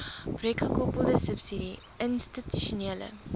projekgekoppelde subsidie institusionele